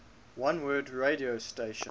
oneword radio station